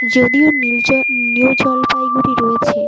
যদিও নীল নিউ জলপাইগুড়ি রয়েছে ।